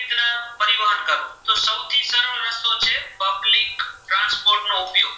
નો ઉપયોગ